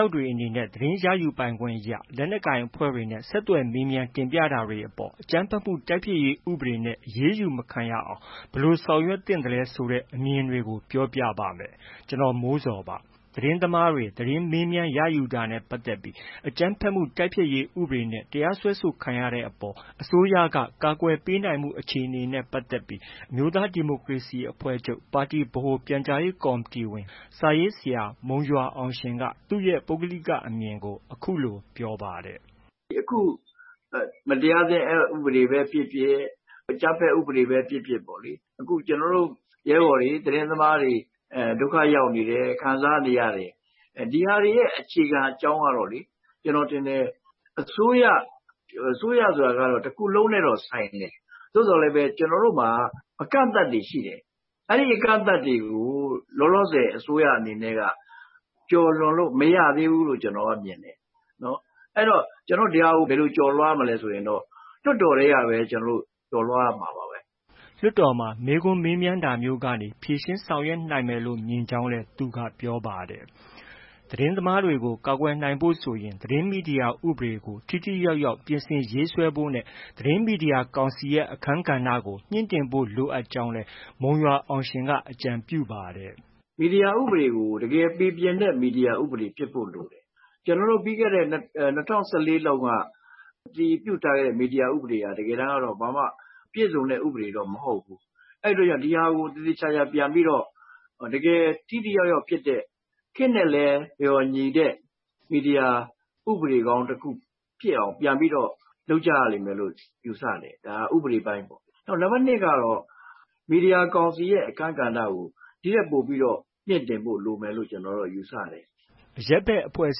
ောက်တွေအနေနဲ့ သတင်းရယူပိုင်ခွင့်အရ လက်နက်ကိုင်အဖွဲ့တွေနဲ့ ဆက်သွယ်မေးမြန်း တင်ပြတာတွေအပေါ် အကြမ်းဖက်မှုတိုက်ဖျက်ရေး ဥပဒေနဲ့ အရေးယူမခံရအောင် ဘယ်လိုလုပ်ဆောင်သင့်သလဲဆိုတဲ့ အမြင်တွေကို ကိုမိုးဇော် စုစည်းတင်ပြထားပါတယ်။ သတင်းသမားတွေ သတင်းမေးမြန်းရယူတာနဲ့ ပတ်သက်ပြီး အကြမ်းဖက်မှုတိုက်ဖျက်ရေး ဥပဒေနဲ့ တရားစွဲဆိုခံရတဲ့အပေါ် အစိုးရက ကာကွယ်ပေးနိုင်မှု အခြေအနေနဲ့ ပတ်သက်ပြီး အမျိုးသားဒီမိုကရေစီအဖွဲ့ချုပ်ပါတီ ဗဟိုပြန်ကြားရေးကော်မတီဝင် စာရေးဆရာ မုံရွာအောင်ရှင်က သူ့ရဲ့ ပုဂ္ဂလိကအမြင်ကို အခုလို ပြောပါတယ်။ “အခု မတရားသင်း အက်ဥပဒေပဲဖြစ်ဖြစ်၊ အကြမ်းဖက်ဥပဒေပဲ ဖြစ်ဖြစ်ပေါ့လေ ကျနော်တို့ ရဲဘော်တွေ၊ သတင်းသမားတွေ ဒုက္ခရောက်နေတယ်၊ ခံစားနေရတယ်။ ဒီဟာတွေရဲ့ အခြေခံအကြောင်းကတော့ ကျနော်ထင်တယ်၊ အစိုးရ အစိုးရဆိုတာကတော့ တခုလုံးနဲ့တော့ ဆိုင်တယ်။ သို့သော်လည်းပဲ ကျနော်တို့မှာက အကန့်အသတ်တွေ ရှိတယ်။ အဲဒီအကန့်အသတ်တွေကို လောလောဆယ် အစိုးရအနေနဲ့က ကျော်လွန်လို့ မရသေးဘူးလို့ ကျနော်က မြင်တယ်။ အဲဒါကို ဘယ်လိုကျော်လွှားမလဲ ဆိုရင်တော့ လွှတ်တော်ထဲကပဲ ကျနော်တို့ ကျော်လွှားရမှာပါပဲ။” လွှတ်တော်မှာ မေးခွန်းမေးမြန်းတာမျိုးကနေ ဖြေရှင်းဆောင်ရွက်နိုင်မယ်လို့ မြင်ကြောင်း သူက ပြောပါတယ်။ သတင်းသမားတွေကို ကာကွယ်နိုင်ဖို့ဆိုရင် သတင်းမီဒီယာဥပဒေကို ထိထိရောက်ရောက် ပြင်ဆင်ရေးဆွဲဖို့နဲ့ မီဒီယာကောင်စီရဲ့ အခန်းကဏ္ဍကို မြှင့်တင်ဖို့ လိုအပ်ကြောင်းလည်း မုံရွာအောင်ရှင်က အကြံပြုပါတယ်။ “မီဒီယာဥပဒေက တကယ်ပီပြင်တဲ့ မီဒီယာဥပဒေ ဖြစ်ဖို့လိုတယ်။ ကျနော်တို့ ပြီးခဲ့တဲ့ ၂၀၁၄ လောက်က အတည်ပြုထားတဲ့ မီဒီယာဥပဒေဟာ တကယ်တန်းက ဘာမှ ပြည့်စုံတဲ့ မီဒီယာဥပဒေတော့ မဟုတ်ဘူး။ အဲဒီတော့ ဒီဟာကို သေသေချာချာ ပြန်ပြီးတော့ တကယ် ထိထိရောက်ရောက်ဖြစ်တဲ့ ခေတ်နဲ့လည်း လျော်ညီတဲ့ မီဒီယာဥပဒေကောင်းတခု ပြန်ပြီးတော့ လုပ်ကြရမယ်လို့ ယူဆတယ်။ ဒါက ဥပဒေပိုင်းပေါ့။ နောက် နံပါတ် ၂ ကတော့ မီဒီယာကောင်စီရဲ့ အခန်းကဏ္ဍကို ဒီထက်ပိုပြီးတော့ မြှင့်တင်ဖို့ လိုအပ်မယ်လို့ ကျနော်ယူဆတယ်။” အရပ်ဘက်အဖွဲ့အ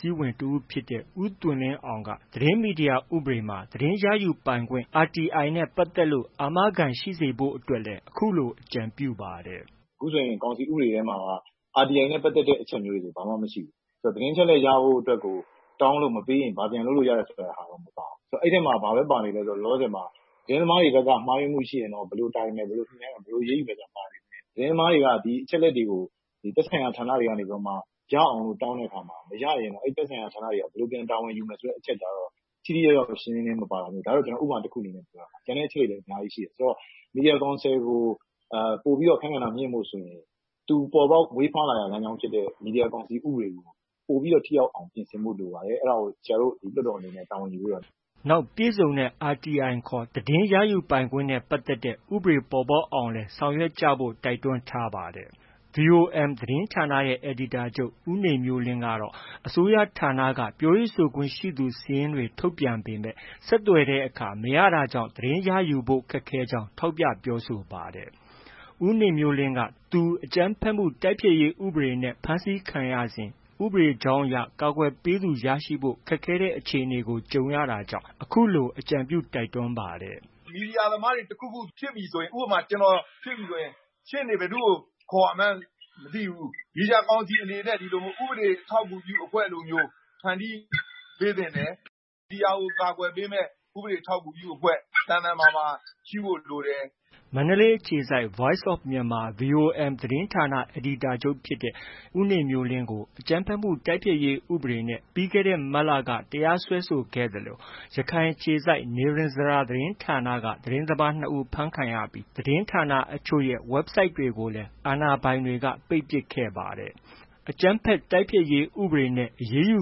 စည်းဝင် တဦးဖြစ်တဲ့ ဦးသွင်လင်းအောင်က သတင်းမီဒီယာဥပဒေမှာ သတင်းရယူပိုင်ခွင့် RTI နဲ့ပတ်သက်လို့ အာမခံရှိစေဖို့အတွက် အခုလို အကြံပြုပါတယ်။ “အခုဆိုရင် ကောင်စီဥပဒေမှာက RTI နဲ့ ပတ်သက်တဲ့ အချက်တွေဆို ဘာမှ မရှိဘူး။ သတင်းအချက်အလက် ရဖို့အတွက်ဆို တောင်းလို့မပေးရင် ဘာပြန်လုပ်လို့ရတယ် ဆိုတဲ့ဟာ မပါဘူး။ အဲဒီထဲမှာ ဘာပဲပါနေလဲဆို လောလောဆယ် သတင်းသမားတွေဘက်က မှားယွင်းမှုရှိရင်တော့ ဘယ်လိုတာဝန်ယူမယ်၊ ဘယ်လိုညှိနှိုင်းမယ်၊ ဘယ်လိုအရေးယူမယ်ဆိုတာ ပါပေမယ့် သတင်းသမားတွေက ဒီအချက်အလက်တွေကို သက်ဆိုင်ရာ ဌာနတွေက ရအောင်လို့ တောင်းတဲ့အခါ မရရင် သက်ဆိုင်ရာဌာနတွေက ဘယ်လို တာဝန်ယူမယ်ဆိုတာ ထိထိရောက်ရောက် ရှင်းရှင်းလင်းလင်း မပါတာမျိုး၊ ဒါက ဥပမာတခုအနေနဲ့ ပြောတာပါ။ ကျန်တဲ့အချက်တွေလည်း အများကြီးရှိတယ်။ ဆိုတော့ မီဒီယာကောင်စီကို ပိုပြီး အခန်းကဏ္ဍမြှင့်ဖို့ဆိုရင် သူမွေးဖွားရာဖြစ်တဲ့ မီဒီယာဥပဒေကို ပိုပြီး ထိရောက်အောင် ပြင်ဆင်ဖို့ လိုပါတယ်။ အဲဒါကို ဆရာတို့ လွှတ်တော်အနေနဲ့ တာဝန်ယူပေးပါ။” နောက် ပြည့်စုံတဲ့ RTI ခေါ် သတင်းရယူပိုင်ခွင့်နဲ့ ပတ်သက်တဲ့ ဥပဒေ ပေါ်ပေါက်ဖို့ကိုလည်း ဆောင်ရွက်ကြဖို့ တိုက်တွန်းပါတယ်။ VOM သတင်းဌာနရဲ့ အယ်ဒီတာချုပ် ဦးနေမျိုးလင်းကတော့ အစိုးရဌာနက ပြောရေးဆိုခွင့်ရှိသူ စာရင်းတွေ ထုတ်ပြန်ထားပေမယ့် ဆက်သွယ်တဲ့အခါ မရတာကြောင့် သတင်းရယူဖို့ ခက်ခဲကြောင်း ထောက်ပြ ပြောဆိုပါတယ်။ ဦးနေမျိုးလင်းက သူ အကြမ်းဖက်မှုတိုက်ဖျက်ရေး ဥပဒေနဲ့ အဖမ်းခံရစဉ် ဥပဒေကြောင်းအရ ကာကွယ်ပေးသူရရှိဖို့ ခက်ခဲတဲ့ အခြေအနေကို ကြုံခဲ့ရတာကြောင့် အခုလို အကြံပြု တိုက်တွန်းပါတယ်။ “မီဒီယာသမားတွေ တခုခုဖြစ်ပြီဆိုရင် ဥပမာ ကျနော်ဖြစ်ပြီဆိုရင် ရှေ့နေ ဘယ်သူ့ကို ခေါ်ရမှန်းမသိဘူး။ မီဒီယာကောင်စီအနေနဲ့ ဥပဒေအထောက်အကူပြု အဖွဲ့လိုမျိုး ဖန်တီးပေးသင့်တယ်။ မီဒီယာကို ကာကွယ်ပေးမယ့် ဥပဒေထောက်ကူပြုအဖွဲ့ သန်သန်မာမာရှိဖို့ လိုတယ်။” မန္တလေးအခြေစိုက် Voice of Myanmar သတင်းဌာန အယ်ဒီတာချုပ်ဖြစ်တဲ့ ဦးနေမျိုးလင်းကို အကြမ်းဖက်မှုတိုက်ဖျက်ရေး ဥပဒေနဲ့ ပြီးခဲ့တဲ့ မတ်လက တရားစွဲဆိုခဲ့သလို ရခိုင်အခြေစိုက် နိရဉ္စရာသတင်းဌာနက သတင်းသမားနှစ်ဦး ဖမ်းဆီးခံရပြီး သတင်းဌာနအချို့ရဲ့ ဝက်ဘ်ဆိုက်တွေကိုလည်း အာဏာပိုင်တွေက ပိတ်ပစ်ခဲ့ပါတယ်။ အကြမ်းဖက်တိုက်ဖျက်ရေး ဥပဒေနဲ့ အရေးယူ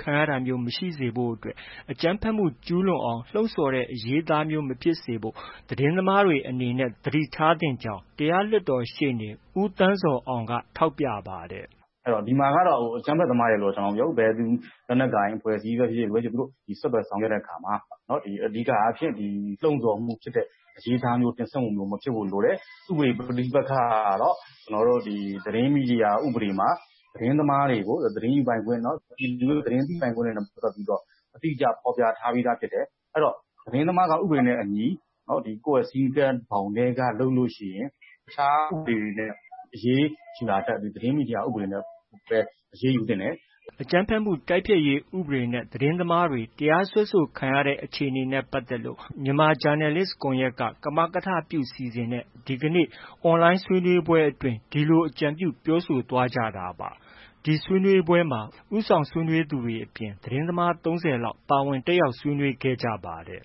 ခံရတာမျိုး မရှိစေဖို့အတွက် အကြမ်းဖက်မှု ကျူးလွန်အောင် လှုံ့ဆော်တဲ့ အရေးအသားမျိုး မဖြစ်စေဖို့ သတင်းသမားတွေ အနေနဲ့ သတိထားသင့်ကြောင်း တရားလွှတ်တော်ရှေ့နေ ဦးသန်းဇော်အောင်ကလည်း ထောက်ပြပါတယ်။ “ဒီမှာကတော့ အကြမ်းဖက်သမားလို့ ကျနော်မပြောဘူး။ ဘယ်လက်နက်ကိုင် အဖွဲ့အစည်းပဲဖြစ်ဖြစ် ဆက်သွယ်ဆောင်ရွက်တဲ့အခါမှာ အဓိကအားဖြင့် လှုံ့ဆော်မှုဖြစ်တဲ့ အရေးအသားမျိုး၊ တင်ဆက်မှုမျိုး မဖြစ်ဖို့လိုတယ်။ ဥပဒေ ပဋိပက္ခကတော့ သတင်းမီဒီယာဥပဒေမှာ သတင်းသမားတွေကို သတင်းယူပိုင်ခွင့်၊ သတင်းသိပိုင်ခွင့်နဲ့ ပတ်သက်ပြီးတော့ အတိအကျ ဖော်ပြထားပြီးသား ဖြစ်တယ်။ သတင်းသမားက ဥပဒေနဲ့အညီ ကိုယ့်ရဲ့ စည်းကမ်း ဘောင်ထဲက လုပ်လို့ရှိရင် တခြားဥပဒေတွေနဲ့ အရေးယူတာထက် သတင်းမီဒီယာ ဥပဒေနဲ့ပဲ အရေးယူသင့်တယ်။” အကြမ်းဖက်မှုတိုက်ဖျက်ရေး ဥပဒေနဲ့ သတင်းသမားတွေ တရားစွဲဆိုခံရတဲ့ အခြေအနေနဲ့ ပတ်သက်လို့ မြန်မာဂျာနယ်လစ်ကွန်ရက်က ကမကထလုပ် စီစဉ်ပြီး ဒီကနေ့လုပ်တဲ့ အွန်လိုင်းဆွေးနွေးပွဲအတွင်း အဲဒီလို အကြံပြု ပြောဆိုသွားကြတာပါ။ ဒီဆွေးနွေးပွဲမှာ ဦးဆောင်ဆွေးနွေးသူတွေအပြင် သတင်းသမား ၃၀ လောက် ပါဝင်တက်ရောက် ဆွေးနွေးခဲ့ကြပါတယ်